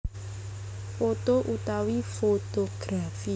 Poto utawi fotografi